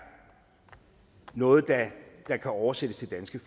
noget der kan oversættes til danske